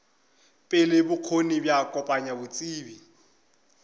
pele bokgoni bja kopanya botsebi